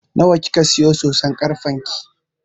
Nawa kika siya soson karfen ki?